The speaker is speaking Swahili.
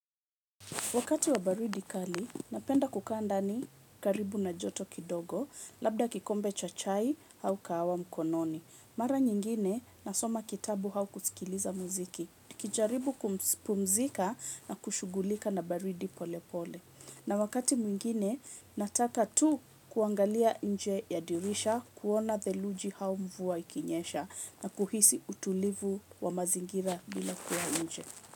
Wakati wa baridi kali napenda kukaa ndani karibu na joto kidogo labda kikombe cha chai au kahawa mkononi. Mara nyingine, nasoma kitabu hau kusikiliza muziki. Kijaribu kupumzika na kushugulika na baridi pole pole. Na wakati mwingine, nataka tu kuangalia nje yadirisha, kuona thelujia hau mvua ikinyesha, na kuhisi utulivu wa mazingira bila kuwa nje.